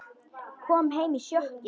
Kom heim í sjokki.